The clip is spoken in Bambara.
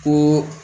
Ko